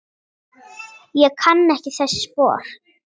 Ég kann ekki þessi spor.